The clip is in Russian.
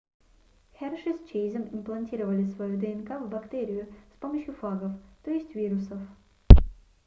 херши с чейзом имплантировали свою днк в бактерию с помощью фагов т е вирусов